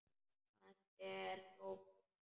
Hann er þó kominn heim.